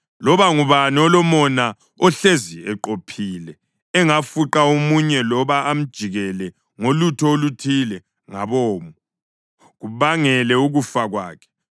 Loba ngubani olomona ohlezi eqophile engafuqa omunye loba amjikijele ngolutho oluthile ngabomo kubangele ukufa kwakhe